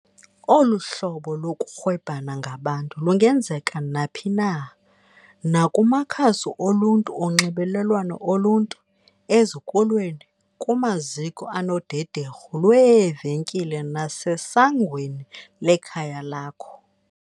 Olu hlobo lokurhwebhana ngabantu lungenzeka naphi na - nakumakhasi oluntu onxibelelwano oluntu, ezikolweni, kumaziko anodederhu lweevenkile nasesangweni lekhaya lakho.